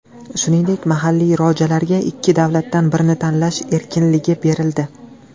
Shuningdek, mahalliy rojalarga ikki davlatdan birini tanlash erkinligi berildi.